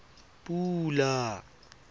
pula